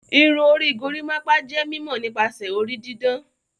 Irun orí gorimopa jé mímó nípasẹ orí didán.